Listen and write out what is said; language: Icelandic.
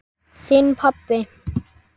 Þinn, pabbi.